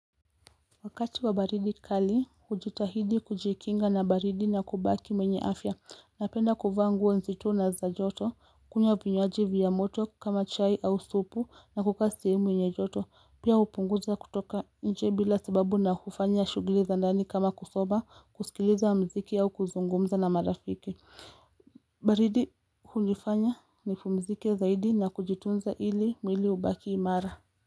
Wakati wa baridi kali, hujitahidi kujikinga na baridi na kubaki mwenye afya, napenda kufa nguo nzito na za joto, kunywa vinywaji vya moto kama chai au supu na kuka sehemu mwenye joto, pia upunguza kutoka nje bila sababu na kufanya shugili za ndani kama kusoma, kusikiliza mziki au kuzungumza na marafiki. Baridi hunifanya nipumzike zaidi na kujitunza ili mwili ubaki imara.